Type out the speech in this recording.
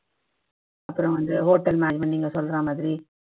அப்பறம் வந்து hotel management நீங்க சொல்ற மாதிரி